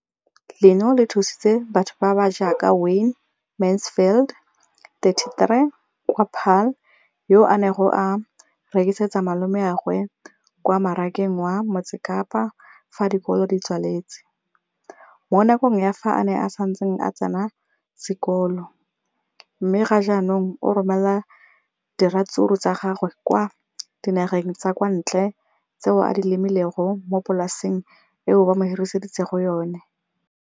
leno le thusitse batho ba ba jaaka Wayne Mansfield, 33, wa kwa Paarl, yo a neng a rekisetsa malomagwe kwa Marakeng wa Motsekapa fa dikolo di tswaletse, mo nakong ya fa a ne a santse a tsena sekolo, mme ga jaanong o romela diratsuru tsa gagwe kwa dinageng tsa kwa ntle tseo a di lemileng mo polaseng eo ba mo hiriseditseng yona.